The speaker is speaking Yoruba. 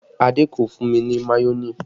Adé kò fún mi ní mayonẹ